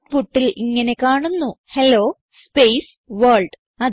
ഔട്ട്പുട്ടിൽ ഇങ്ങനെ കാണുന്നു ഹെല്ലോ സ്പേസ് വർൾഡ്